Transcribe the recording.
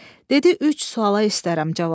Dedi: "Üç suala istərəm cavab.